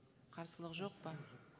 қарсылық жоқ па